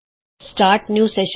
ਨਵਾਂ ਸੈਸ਼ਨ ਸ਼ੁਰੂ ਕਰੋ ਤੇ ਕਲਿਕ ਕਰੋ